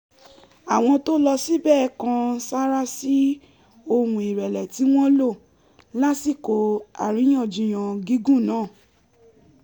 àwọn tó lọ síbẹ̀ kan sárá sí ohùn ìrẹ̀lẹ̀ ti wọ́n lò lásìkò àríyànjiyàn gígùn náà